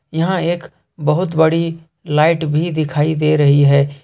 यहां एक बहुत बड़ी लाइट भी दिखाई दे रही है।